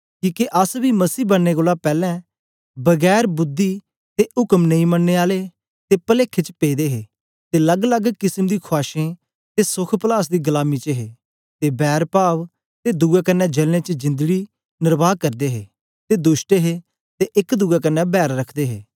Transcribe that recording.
किके अस बी मसीह बनने पैलैं बिना र्बुद्धि ते उक्म नेई मनने आले ते पलेखे च पेदे हे ते लग्गलग्ग किसम दी खुआशें ते सोख पलास दी गलामी च हे ते बैरपाव ते दुए कन्ने जलने च जिंदड़ी न्रवहा करदे हे ते दुष्ट हे ते एक दुए कन्ने बैर रखदे हे